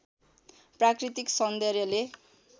प्राकृतिक सौन्दर्यले